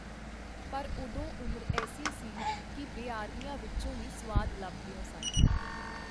ਪਰ ਓਦੋਂ ਉਮਰ ਐੱਸੀ ਸੀ ਕੀ ਬੇਆਰਮੀਆਂ ਵਿਚੋਂ ਵੀ ਸੁਆਦ ਲੱਭਦਿਓ ਸਨ.